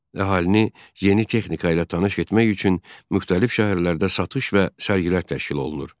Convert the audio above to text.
Əhalini yeni texnika ilə tanış etmək üçün müxtəlif şəhərlərdə satış və sərgilər təşkil olunur.